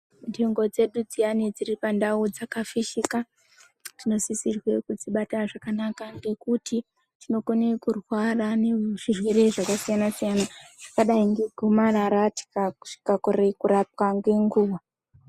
Nzvimbo dzedu dziyani dziripandau dzakafishika tinosisirwe kudzibata zvakanaka ngekuti tinokone kurwara ngezvirwere zvakasiyana-siyana zvakadai ngegomarara tikakorere kurapwa ngenguwa.